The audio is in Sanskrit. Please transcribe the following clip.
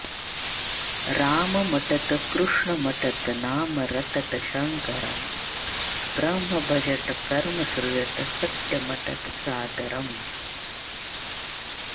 राममटत कृष्णमटत नाम रटत शङ्करं ब्रह्म भजत कर्म सृजत सत्यमटत सादरम्